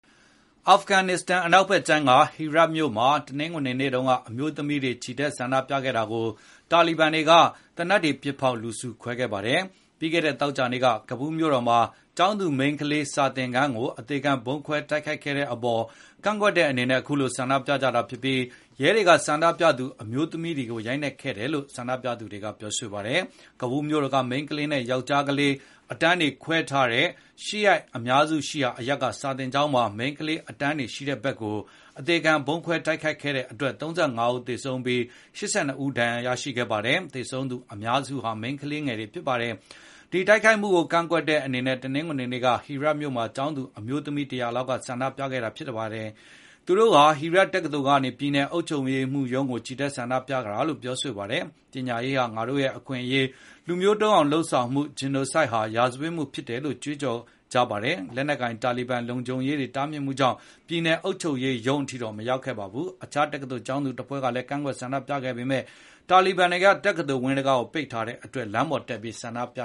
အာဖဂန်နစ္စတန်နိုင်ငံ အနောက်ဖက်ခြမ်းက Herat မြို့မှာ တနင်္ဂနွေနေ့တုန်းက အမျိုးသမီးတွေ ချီတက်ဆန္ဒပြတာကို တာလီဘန်တွေက သေနတ်တွေ ပစ်ဖေါက် လူစုခွဲခဲ့ပါတယ်။ ပြီးခဲ့တဲ့ သောကြာနေ့က ကာဘူလ်း မြို့တော်မှာ ကျောင်းသူမိန်းကလေး စာသင်ခန်းကို အသေခံဗုံးခွဲ တိုက်ခိုက်ခဲ့တဲ့ အပေါ် ကန့်ကွက်တဲ့ အနေနဲ့ အခုလို ဆန္ဒပြကြာတာဖြစ်ပြီး ရဲတွေက ဆန္ဒပြသူ အမျိုးသမီးတွေကို ရိုက်နှက်ခဲ့တယ်လို့ ဆန္ဒပြသူ တွေက ပြောဆိုပါတယ်။ ကာဘူလ်း မြို့တော်က မိန်းကလေးနဲ့ ယောက်ျားလေး အတန်းတွေခွဲထားတဲ့ ရှီယာ အများစုရှိရာအရပ်က စာသင်ကျောင်းမှာ မိန်းကလေး အတန်းတွေရှိတဲ့ ဘက်ကို အသေခံဗုံးခွဲ တိုက်ခိုက်ခဲ့တဲ့အတွက် ၃၅ ဦးသေဆုံးပြီး ၈၂ ဦး ဒဏ်ရာရခဲ့ပါတယ်။ သေဆုံးသူအများစုဟာ မိန်းကလေးတွေ ဖြစ်ပါတယ်။ ဒီတိုက်ခိုက်မှုကို ကန့်ကွက်တဲ့ အနေနဲ့ တနင်္ဂနွေနေ့က Herat မြို့မှာ ကျောင်းသူ အမျိုးသမီး ၁၀၀ လောက်က ဆန္ဒပြခဲ့ တာဖြစ်ပါတယ်။ သူတို့ဟာ Herat တက္ကသိုလ်ကနေ ပြည်နယ်အုပ်ချုပ်ရေးမှူးရုံးကို ချီတက်ဆန္ဒပြကြတာလို့ ပြောဆိုခဲ့ ပါတယ်။ ပညာရေးဟာ ငါတို့အခွင့်အရေး၊ လူမျိုးတုန်းအောင် လုပ်ဆောင်မှု Genocide ဟာ ရာဇဝတ်မှု ဖြစ်တယ်လို့ ကြွေးကြော်ကြပါတယ်။ လက်နက်ကိုင် တာလီဘန်လုံခြုံရေးတွေ တားမြစ်မှုကြောင့် ပြည်နယ် အုပ်ချုပ်ရေးမှူးရုံး အထိတော့ မရောက်ခဲ့ကြပါဘူး။ အခြား တက္ကသိုလ် ကျောင်းသူတဖွဲ့ကလည်း ကန့်ကွက်ဆန္ဒပြခဲ့ပေမဲ့ တာလီဘန်တွေက တက္ကသိုလ်ဝင်း တံခါးပေါက် တွေကို ပိတ်ထားတဲ့အတွက် လမ်းတွေပေါ်တက် ဆန္ဒပြ